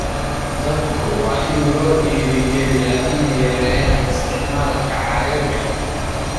Dadku waa in loo dhiirrigeliyaa inay yareeyaan isticmaalka caagagga.